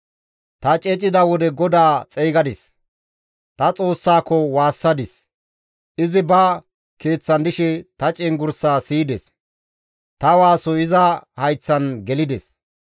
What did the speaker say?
Ta ceecida wode GODAA xeygadis; ta Xoossaako waassadis. Izi ba Keeththan dishe ta cenggurssaa siyides; ta waasoy iza hayththan gelides.